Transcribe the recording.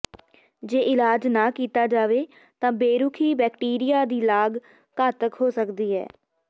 ਜੇ ਇਲਾਜ ਨਾ ਕੀਤਾ ਜਾਵੇ ਤਾਂ ਬੇਰੁਖੀ ਬੈਕਟੀਰੀਆ ਦੀ ਲਾਗ ਘਾਤਕ ਹੋ ਸਕਦੀ ਹੈ